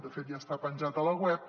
de fet ja està penjat a la web